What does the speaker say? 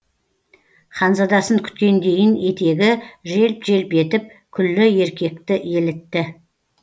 ханзадасын күткендейін етегі желп желп етіп күллі еркекті елітті